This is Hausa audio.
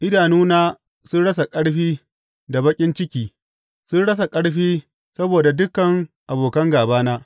Idanuna sun rasa ƙarfi da baƙin ciki; sun rasa ƙarfi saboda dukan abokan gābana.